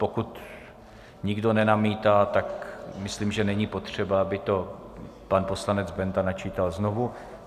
Pokud nikdo nenamítá, tak myslím, že není potřeba, aby to pan poslanec Benda načítal znovu.